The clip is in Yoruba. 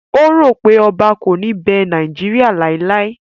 O ro wipe Oba ko ni be Nigeria laelae